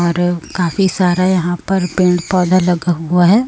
और काफी सारा यहां पर पेड़ पौधा लगा हुआ है।